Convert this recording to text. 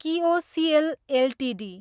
KIOCL Ltd